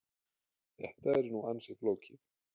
Þetta er nú ansi flókið.